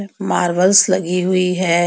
Marbles लगी हुई है.